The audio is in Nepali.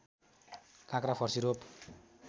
काँक्रा फर्सी रोप